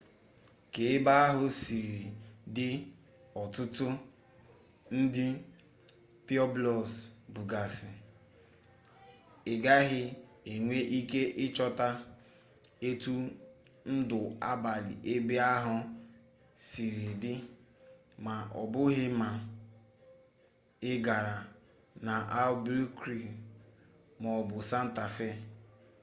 ka ebe ahụ siri dị ọtụtụ ndị pueblos bụgasị ị gaghị enwe ike ịchọta etu ndụ abalị ebe ahụ siri dị ma ọbụghị ma ị gara n'albuquerque maọbụ santa fe